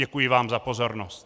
Děkuji vám za pozornost.